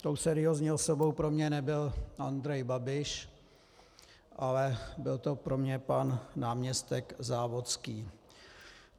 Tou seriózní osobou pro mě nebyl Andrej Babiš, ale byl to pro mě pan náměstek Závodský.